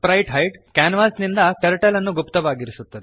sprite hide ಕ್ಯಾನ್ವಾಸಿನಿಂದ turtle ಅನ್ನು ಗುಪ್ತವಾಗಿರಿಸುತ್ತದೆ